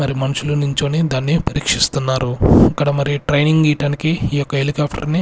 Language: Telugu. మరి మనుషులు నించొని దాన్ని పరీక్షిస్తున్నారు ఇక్కడ మరి ట్రైనింగ్ ఇయ్యటానికి ఈ యొక్క హెలికాప్టర్ .